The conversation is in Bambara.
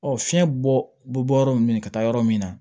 Ɔ fiɲɛ bɔ bɛ bɔ yɔrɔ min ka taa yɔrɔ min na